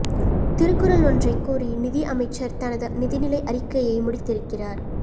திருக்குறள் ஒன்றைக் கூறி நிதி அமைச்சர் தனது நிதிநிலை அறிக்கையை முடித்திருக்கிறார்